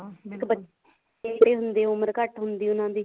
ਤੇ ਉਮਰ ਘੱਟ ਹੁੰਦੀ ਉਹਨਾ ਦੀ